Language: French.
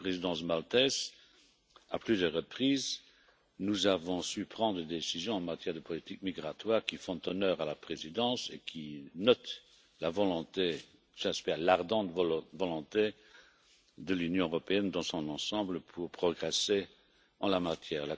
Sous la présidence maltaise, à plusieurs reprises, nous avons su prendre des décisions en matière de politique migratoire qui font honneur à la présidence et qui témoignent de la volonté j'espère de l'ardente volonté de l'Union européenne dans son ensemble de progresser en la matière.